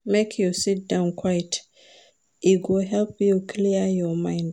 Make you sit down quiet, e go help you clear your mind.